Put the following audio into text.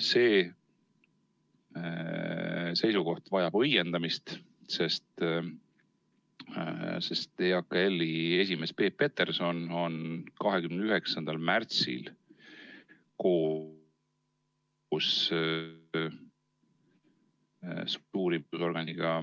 See seisukoht vajab õiendamist, sest EAKL-i esimees Peep Peterson on 29. märtsil koos ...... struktuuriorganiga,